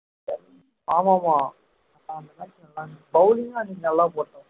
ஆமா ஆமா bowling அன்னிக்கு நல்ல போட்டாங்க